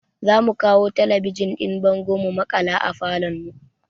Za mu kawo talabijin ɗin bango mu maƙala a falon mu